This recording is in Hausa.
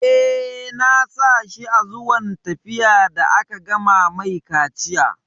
Eh, na sa shi a zuwan zafi da aka gama mai kaciya